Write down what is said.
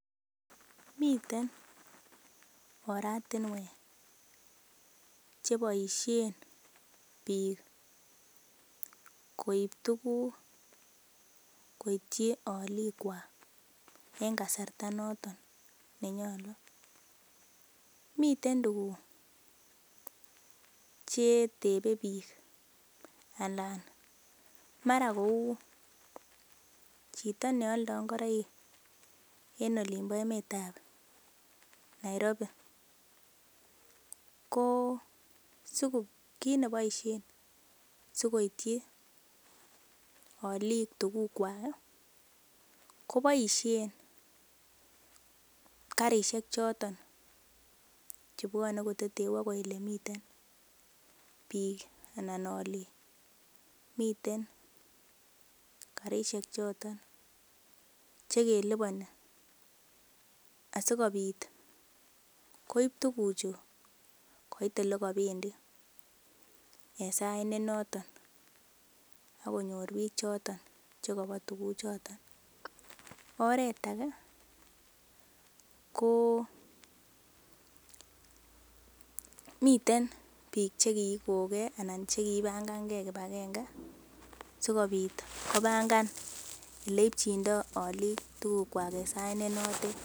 Miten oratinwek cheboisien biik koib tuuguk koityi olikwak en kasarta noton nenyolu. Miten tuguk che tebe biik anan mara kou chito ne alda ngoroik en emet ab olinbo Nairobi, ko kit nebosien sikoityi olik tugukwak ko boisien karishek choton chebwone koteteu agoi olemiten biik anan olik. Miten karishek choton che keliponi asikobit koib tuguchu koit ole kobendi en sait ne noton. AK konyr biik choton che kobo tuguchoto. Oret age komiten biik che kigon ge anan che kipangan ge kipagenge sikobit kobangan ole ipchindo olikwak tugukwak en sait ne notet.